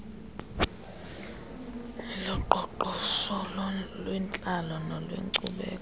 oloqoqosho olwentlalo nolwenkcubeko